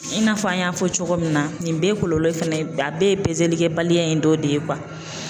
I n'a fɔ an y'a fɔ cogo min na nin bɛɛ ye kɔlɔlɔ ye fɛnɛ a bɛɛ ye pezelikɛbaliya in dɔ de ye